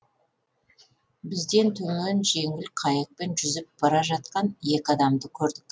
бізден төмен жеңіл қайықпен жүзіп бара жатқан екі адамды көрдік